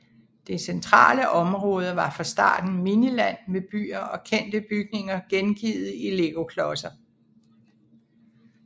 Det centrale område var fra starten Miniland med byer og kendte bygninger gengivet i legoklodser